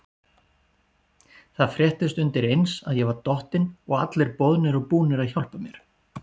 Það fréttist undireins að ég var dottinn og allir boðnir og búnir að hjálpa mér.